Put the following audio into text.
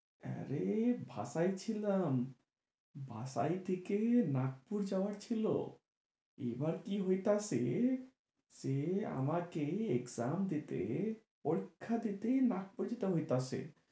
হ্যাঁ রে বাসায় ছিলাম। বাসায় থেকে নাগপুর যাওয়ার ছিলো। এবার কি হইতাছে, ছে আমাকে exam দিতে পরীক্ষা দিতে নাগপুর যাইতে হইতাছে।